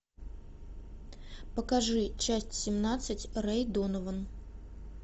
покажи часть семнадцать рэй донован